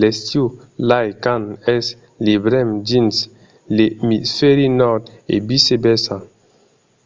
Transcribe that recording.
l'estiu lai quand es l'ivèrn dins l'emisfèri nòrd e vice versa